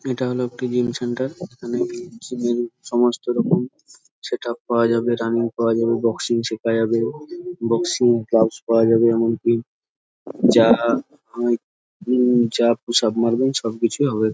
এইটা হলো একটি জিম সেন্টার এইখানে জিম -এর সমস্ত রকম সেট উপ পাওয়া যাবে রানিং পাওয়া যাবে বক্সিং শেখা যাবে বক্সিং গ্লাভস পাওয়া যাবে এমনকি যারা হাই উম পুশ উপ মারবে সবকিছুই হবে ।